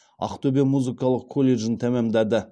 ақтөбе музыкалық колледжін тәмамдады